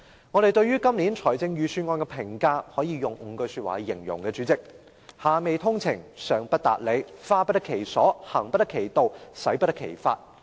我們對今年預算案的評價，代理主席，可以用5句說話來形容："下未通情，上不達理，花不得其所，行不得其道，使不得其法"。